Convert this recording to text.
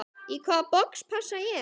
Í hvaða box passa ég?